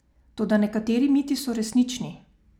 Toda nekateri miti so resnični.